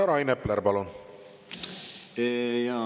Rain Epler, palun!